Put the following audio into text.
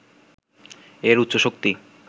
এর উচ্চ শক্তি